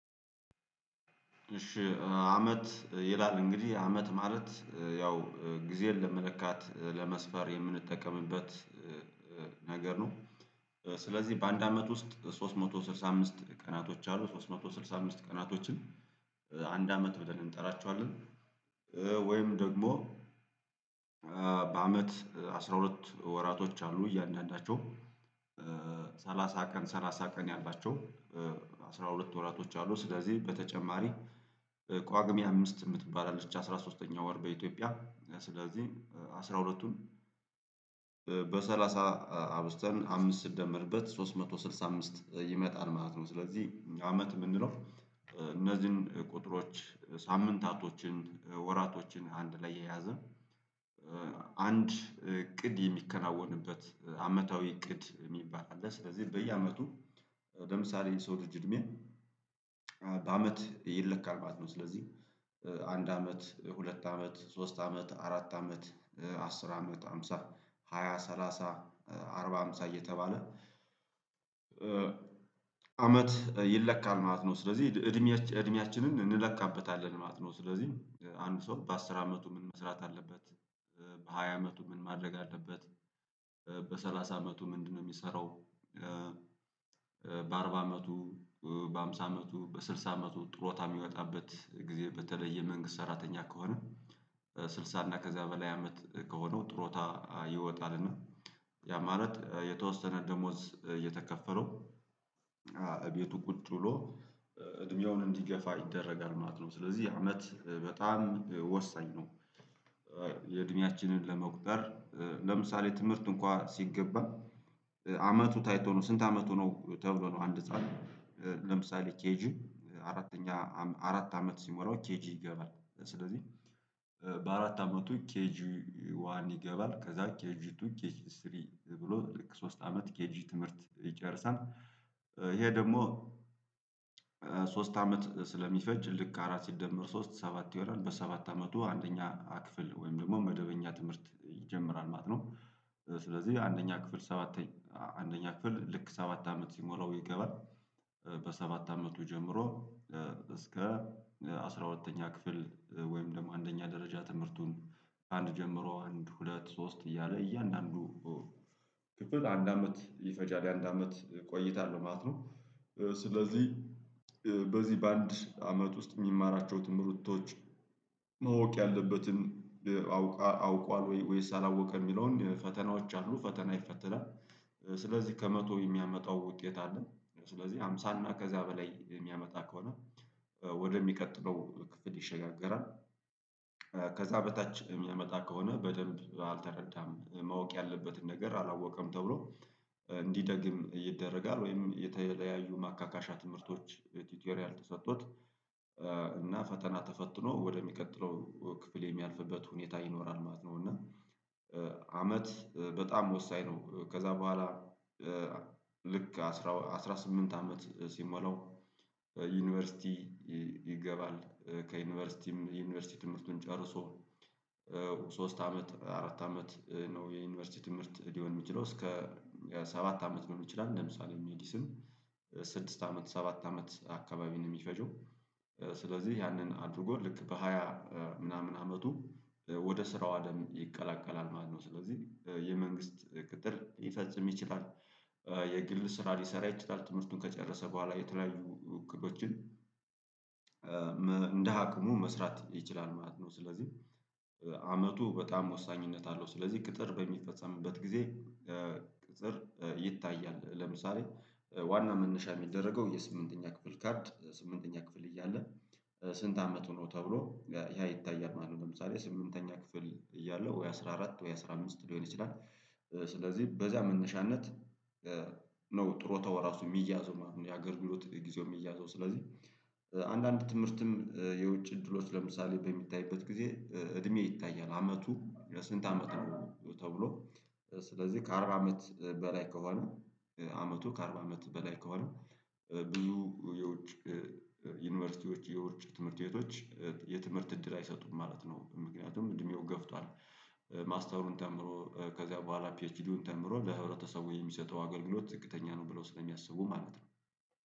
እሺ አመት ይላል እንግዲህ አመት ማለት ያው ጊዜን ለመለካት ለመስፈር የምንጠቀምበት ነገር ነው። ስለዚህ በአንድ አመት ውስጥ ሶስት መቶ ስድሳ አምስት ቀናቶች አሉ ሶስት መቶ ስልሳ አምስት ቀናቶችን አንድ አመት ብለን እንጠራቸዋለን። ወይም ደግሞ በአመት አስራ ሁለት ወራቶች አሉ እያንዳንዳቸው ሰላሳ ቀን ሰላሳ ቀን ያላቸው አስራ ሁለት ወራቶች አሉ። ስለዚህ በተጨማሪ ቋግም አምስት የምትባል አለች አስራ ሶስተኛ ወር በኢትዮጵያ ስለዚህ አስራ ሁለት ሁለቱን በሰላሳ አብዝተን አምስት ስንደመርበት ሶስት መቶ ስልሳ አምስት ይመጣል ማለት ነው። ስለዚህ አመት የምንለው እነዚህን ቁጥሮች ሳምንታቶችን ወራቶችን አንድ ላይ የያዘ አንድ እቅድ የሚከናወንበት አመታዊ እቅድ የሚባል አለ። ስለዚህ በየአመቱ ለምሳሌ የሰው ልጅ እድሜን በአመት ይለካል ማለት ነው። ስለዚህ አንድ አመት ሁለት አመት ሶስት አመት አራት አመት አስር አመት ሃምሳ ሃያ ሰላሳ አርባ ሃምሳ እየተባለ አመት ይለካል ማለት ነው። ስለዚህ እድሜ እድሜያችንን እንለካበታለን ማለት ነው። ስለዚህ አንዱ ሰው በአስር አመቱ ምን መስራት አለበት? በሃያ አመቱ ምን ማድረግ አለበት? በሰላሳ አመቱ ምንድነው የሚሰራው? በአርባ አመቱ በሃምሳ አመቱ በስልሳ አመቱ ጥሮታ የሚወጣበት ጊዜ በተለይ የመንግስት ሰራተኛ ከሆነ ስልሳ እና ከዛ በላይ አመት ከሆነው ጥሮታ ይወጣልና ያ ማለት የተወሰነ ደሞዝ እየተከፈለው እቤቱ ቁጭ ብሎ እድሜውን እንዲገፋ ይደረጋል ማለት ነው። ስለዚህ አመት በጣም ወሳኝ ነው። የእድሜያችንን ለመቁጠር ለምሳሌ ትምህርት እንኳን ሲገባ አመቱ ታይቶ ነው ስንት አመቱ ነው ተብሎ ነው? አንድ ህፃን ለምሳሌ ኬጂ አራተኛ አራት አመት ሲሞላው ኬጂ ይገባል። ስለዚህ በአራት አመቱ ኬጂ ዋን ይገባል ከዛ ኬጂ ቱ ኬጂ ስሪ ብሎ ለሶስት አመት ኬጂ ትምህርት ይጨርሳል። ይሄ ደግሞ ሶስት አመት ስለሚፈጅ ልክ አራት ሲደመር ሶስት ሰባት ይሆናል በሰባት አመቱ አንደኛ ክፍል ወይም ደግሞ መደበኛ ትምህርት ይጀምራል ማለት ነው። ስለዚህ አንደኛ ክፍል ሰባተኛ አንደኛ ክፍል ልክ ሰባት አመት ሲሞላው ይገባል። በሰባት አመቱ ጀምሮ እስከ አስራ ሁለተኛ ክፍል ወይም ደግሞ አንደኛ ደረጃ ትምህርቱን አንድ ጀምሮ አንድ ሁለት ሶስት እያለ እያንዳንዱ አንድ አመት ይፈጃል አንድ አመት ቆይታለሁ ማለት ነው። ስለዚህ በዚህ በአንድ አመት ውስጥ የሚማራቸው ትምህርቶች ማወቅ ያለበትን አውቋል ወይስ አላወቀ የሚለውን ፈተናዎች አሉ ፈተና ይፈተናል። ስለዚህ ከመቶ የሚያመጣው ውጤት አለ። ስለዚህ ሃምሳ እና ከዚያ በላይ የሚያመጣ ከሆነ ወደሚቀጥለው ክፍል ይሸጋገራል። ከዛ በታች የሚያመጣ ከሆነ በደንብ አልተረዳም ማወቅ ያለበትን ነገር አላወቀም ተብሎ እንዲደግም ይደረጋል። ወይም የተለያዩ ማካካሻ ትምህርቶች ቲቶሪያል ተሰጥቶት እና ፈተና ተፈትኖ ወደሚቀጥለው ክፍል የሚያልፍበት ሁኔታ ይኖራል ማለት ነው። እና አመት በጣም ወሳኝ ነው። ከዛ በኋላ ልክ አስራ አስራ ስምንት አመት ሲሞላው። ዩኒቨርሲቲ ከዩኒቨርሲቲም የዩኒቨርሲቲ ትምህርቱን ጨርሶ ሶስት አመት አራት አመት ነው የዩኒቨርሲቲ ትምህርት ሊሆን የሚችለው? እስከ ሰባት አመት ሊሆን ይችላል። ለምሳሌ ሜዲስን ስድስት አመት ሰባት አመት አካባቢ ነው የሚፈጀው። ስለዚህ ያንን አድርጎ ልክ በሃያ ምናምን አመቱ ወደ ስራው አለም ይቀላቀላል ማለት ነው። ስለዚህ የመንግስት ቅጥር ሊፈጽም ይችላል። የግል ስራ ሊሰራ ይችላል ትምህርቱን ከጨረሰ በኋላ የተለያዩ እቅዶችን አቅሙ መስራት ይችላል ማለት ነው። ስለዚህ አመቱ በጣም ወሳኝነት አለው። ስለዚህ ቅጥር በሚፈጸምበት ጊዜ ቅጥር ይታያል ለምሳሌ ዋና መነሻ የሚደረገው የስምንተኛ ክፍል ካርድ ስምንተኛ ክፍል እያለ ስንት አመት ሆነው ተብሎ ያ ይታያል ማለት ነው። ለምሳሌ ስምንተኛ ክፍል እያለው ወይ አስራ አራት ወይ አስራ አምስት ሊሆን ይችላል። ስለዚህ በዚያ መነሻነት ነው ጥሩታው እራሱ የሚያዘው ማለት ነው። ያገልግሎት ጊዜው የሚያዘው ስለዚህ። አንዳንድ ትምህርትም የውጭ እድሎች ለምሳሌ በሚታይበት ጊዜ እድሜ ይታያል አመቱ ለስንት አመት ነው? ተብሎ ስለዚህ ከአርባ አመት በላይ ከሆነ አመቱ ከአርባ አመት በላይ ከሆነ ብዙ የውጭ ዩኒቨርሲቲዎች የውጭ ትምህርት ቤቶች የትምህርት እድል አይሰጡም ማለት ነው። ምክንያቱም እድሜው ገፍቷል። ማስተሩን ተምሮ ከዚያ በኋላ ፒኤችዲውን ተምሮ ለህብረተሰቡ የሚሰጠው አገልግሎት ዝቅተኛ ነው ብለው ስለሚያስቡ ማለት ነው